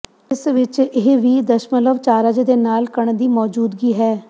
ਇਸ ਵਿਚ ਇਹ ਵੀ ਦਸ਼ਮਲਵ ਚਾਰਜ ਦੇ ਨਾਲ ਕਣ ਦੀ ਮੌਜੂਦਗੀ ਹੈ